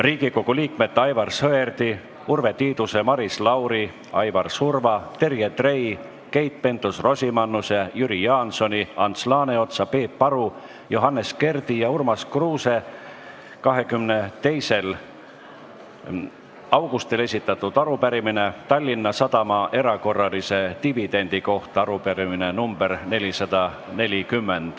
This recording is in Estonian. Riigikogu liikmete Aivar Sõerdi, Urve Tiiduse, Maris Lauri, Aivar Surva, Terje Trei, Keit Pentus-Rosimannuse, Jüri Jaansoni, Ants Laaneotsa, Peep Aru, Johannes Kerdi ja Urmas Kruuse 22. augustil esitatud arupärimine Tallinna Sadama erakorralise dividendi kohta .